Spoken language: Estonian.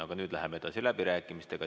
Aga nüüd läheme edasi läbirääkimistega.